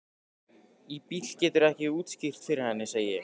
Í bili geturðu ekkert útskýrt fyrir henni, segi ég.